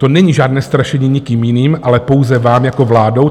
To není žádné strašení nikým jiným, ale pouze vámi jako vládou.